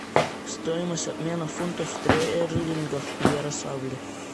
стоимость обмена фунтов стерлингов в ярославле